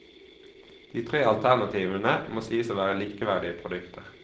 De tre alternativene må sies å være likeverdige produkter.